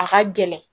A ka gɛlɛn